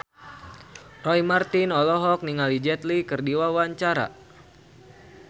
Roy Marten olohok ningali Jet Li keur diwawancara